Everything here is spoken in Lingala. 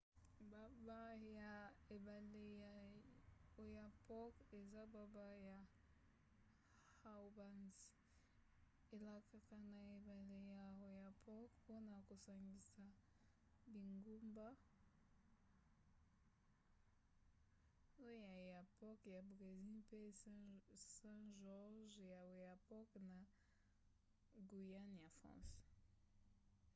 gbagba ya ebale ya oyapock eza gbagba ya haubans. elekaka na ebale ya oyapock mpona kosangisa bingumba oiapoque ya brésil mpe saint-georges ya oyapock na guyane ya france